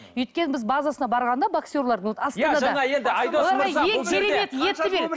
өйткені біз базасына барғанда боксерлардың